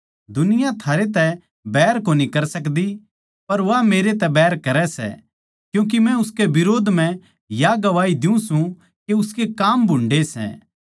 दुनिया थारै तै बैर कोनी कर सकदी पर वा मेरै तै बैर करै सै क्यूँके मै उसकै बिरोध म्ह या गवाही दियुँ सूं के उसके काम भुन्डे़ सै